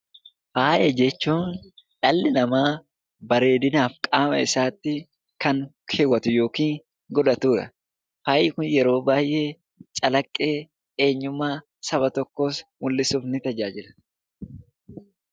Faaya jechuun dhalli namaa bareedinaaf qaama isaatti kan kaawwatu yookiin godhatudha. Faayyi Kun yeroo baay'ee calaqqee saba tokkoos mul'isuud ni tajaajila.